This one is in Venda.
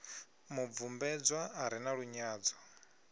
mubvumbedzwa a re na lunyadzo